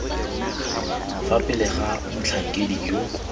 fa pele ga motlhankedi yo